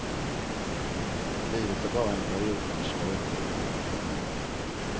Livet är bara en period man ska överleva.